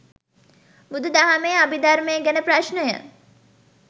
බුදු දහමේ අභිධර්මය ගැන ප්‍රශ්නය